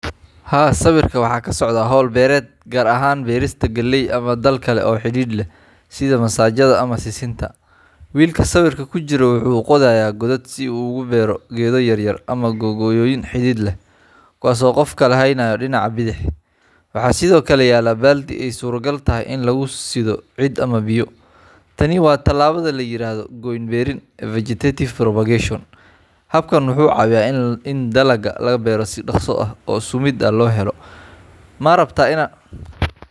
Haa sawirka waxa kasocda berista galley, mise dhalka kale oo xirir leh. sidaa masajadha ama sisinta wilka sawirka kujiro wuu qodhaya, godad yaryar si u ugu bero gedo yaryar. Sido kale waxa yala baldi aa modo inu lagu sidho biyo ama ciid ,tani cunada layirhado goyn berin vegetative propagation habkan wuxu cawiya ini dalaga laga bero si doqso ah oo sumida laga bero, marabta inaa.